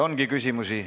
Teile ongi küsimusi.